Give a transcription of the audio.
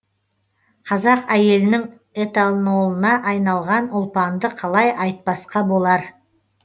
қазақ әйелінің этанолына айналған ұлпанды қалай айтпасқа болар